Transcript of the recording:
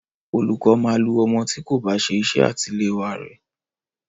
Olùkọ́ máa lu ọmọ tí kò bá ṣe iṣẹ́ àṣetiléwá re.